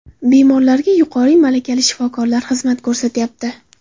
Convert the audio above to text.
Bemorlarga yuqori malakali shifokorlar xizmat ko‘rsatyapti.